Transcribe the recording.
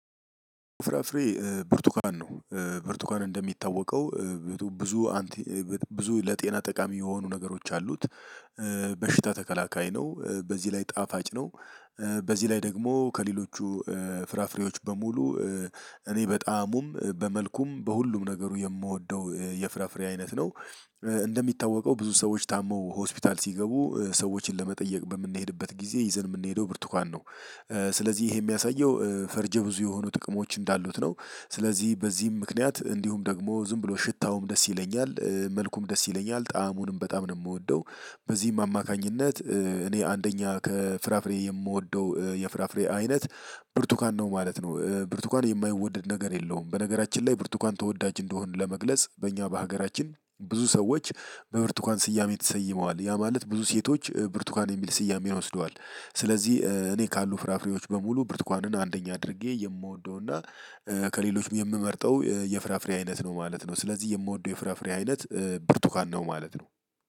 ፍራፍሬ ብርቱካን ነው። ብርቱካን እንደሚታወቀው ብዙ ብዙ ለጤና ጠቃሚ የሆኑ ነገሮች አሉት። በሽታ ተከላካይ ነው። በዚህ ላይ ጣፋጭ ነው። በዚህ ላይ ደግሞ ከሌሎቹ ፍራፍሬዎች በሙሉ እኔ በጣዕሙም በመልኩም በሁሉም ነገሩ የምወደው የፍራፍሬ አይነት ነው። እንደሚታወቀው ብዙ ሰዎች ታመው ሆስፒታል ሲገቡ ሰዎችን ለመጠየቅ በምንሄድበት ጊዜ ይዘን የምንሄደው ብርቱካን ነው ስለዚህ ይሄ የሚያሳየው ፈርጀ ብዙ የሆኑ ጥቅሞች እንዳሉት ነው። ስለዚህ በዚህም ምክንያት እንዲሁም ደግሞ ዝም ብሎ ሽታውም ደስ ይለኛል መልኩም ደስ ይለኛል ጣዕሙንም በጣም ነው የምወደው በዚህም አማካኝነት እኔ አንደኛ ከፍራፍሬ የምወደው የፍራፍሬ አይነት ብርቱካን ነው ማለት ነው። ብርቱካን የማይወደድ ነገር የለውም። በነገራችን ላይ ብርቱካን ተወዳጅ እንደሆን ለመግለጽ በእኛ በሀገራችን ብዙ ሰዎች በብርቱካን ስያሜ ተሰይመዋል ያ ማለት ብዙ ሴቶች ብርቱካን የሚል ስያሜ ወስደዋል ስለዚህ እኔ ካሉ ፍራፍሬዎች በሙሉ ብርቱካንን አንደኛ አድርጌ የምወደው እና ከሌሎችም የምመርጠው የፍራፍሬ አይነት ነው ማለት ነው ስለዚህ የምወደው የፍራፍሬ አይነት ብርቱካን ነው ማለት ነው።